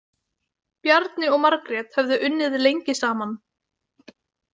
Bjarni og Margrét höfðu unnið lengi saman.